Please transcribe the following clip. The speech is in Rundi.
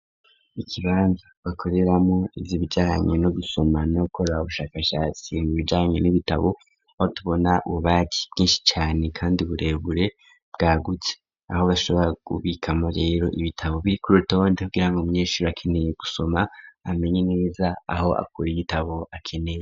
Ikibanza bakoreramo ivyo bijaranye no gusoma no gukorabo bushakashatsi mu bijarane n'ibitabo aho tubona ububari bwinshi cane kandi uburebure bwa gutse aho bashobora gubikamo rero ibitabo biri kurota bondiho kugirango umunyeshure akeneye gusoma amenye neza aho akora igitabo akeneye.